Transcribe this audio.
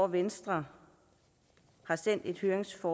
venstre har sendt et høringssvar